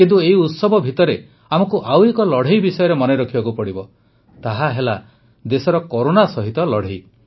କିନ୍ତୁ ଏହି ଉତ୍ସବ ଭିତରେ ଆମକୁ ଆଉ ଏକ ଲଢ଼େଇ ବିଷୟରେ ମନେ ରଖିବାକୁ ପଡ଼ିବ ତାହାହେଲା ଦେଶର କରୋନା ସହିତ ଲଢ଼େଇ